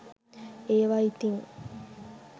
ඒවා ඉතින්